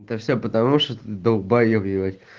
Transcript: это все потому что ты долбаеб ебать